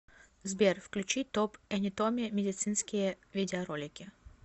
сбер включи топ энетоми медицинские видеоролики